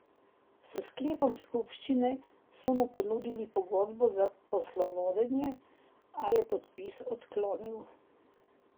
S sklepom skupščine so mu ponudili pogodbo za poslovodenje, a je podpis odklonil.